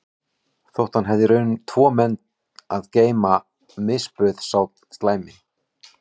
Þótt hann hefði í raun tvo menn að geyma misbauð sá slæmi